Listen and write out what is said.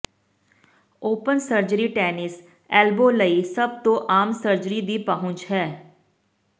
open surgery tennis elbow ਲਈ ਸਭ ਤੋਂ ਆਮ ਸਰਜਰੀ ਦੀ ਪਹੁੰਚ ਹੈ